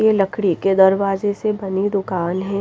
ये लकड़ी के दरवाजे से बनी दुकान है।